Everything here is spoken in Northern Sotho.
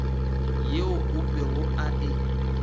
yeo o be a e